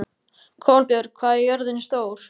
Kolbjörg, hvað er jörðin stór?